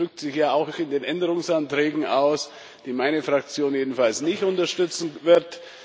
Das drückt sich ja auch in den Änderungsanträgen aus, die meine Fraktion jedenfalls nicht unterstützen wird.